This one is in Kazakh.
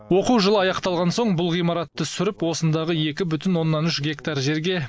оқу жылы аяқталған соң бұл ғимаратты сүріп осындағы екі бүтін оннан үш гектар жерге